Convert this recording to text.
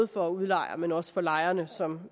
for udlejerne men også for lejerne som